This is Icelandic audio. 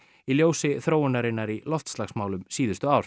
í ljósi þróunarinnar í loftslagsmálum síðustu ár